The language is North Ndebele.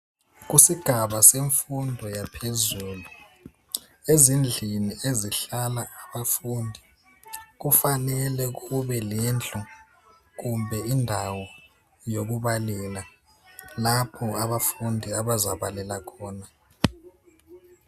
Kusgava semfundo yaphezulu ezindlini ezihlala abafundi kufanele kube le ndlu kumbe indawo yokubalela lapho abafundi abazabalela khona